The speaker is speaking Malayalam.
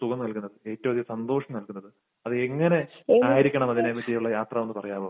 സുഖം നൽകുന്നത്, ഏറ്റവുമധികം സന്തോഷം നൽകുന്നത്. അത് എങ്ങനെ ആയിരിക്കണം അതിനെ യാത്ര എന്ന് പറയാമോ?